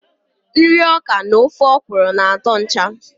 Nri ọkà na ofe okro na atọ ncha.